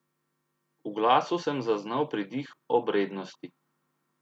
V glasu sem zaznal pridih obrednosti.